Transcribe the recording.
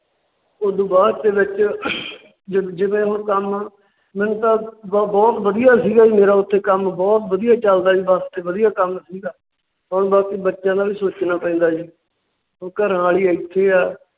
ਉਸ ਤੋਂ ਬਾਅਦ ਦੇ ਵਿੱਚ ਜਿਵੇ ਹੁਣ ਕੰਮ ਮੈਨੂੰ ਤਾਂ ਬਹੁਤ ਵਧੀਆ ਸੀ ਗਾ ਜੀ ਮੇਰਾ ਉੱਥੇ ਕੰਮ ਬਹੁਤ ਵਧੀਆ ਚਲਦਾ ਬੱਸ ਵਧੀਆ ਕੰਮ ਸੀ ਗਾ। ਪਰ ਬੱਚਿਆਂ ਦਾ ਵੀ ਸੋਚਣਾ ਪੈਂਦਾ ਜੀ। ਹੁਣ ਘਰਾਂਵਾਲੀ ਇੱਥੇ ਹੈ